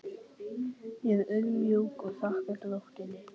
Ég er auðmjúk og þakka drottni.